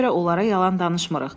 Buna görə onlara yalan danışmırıq.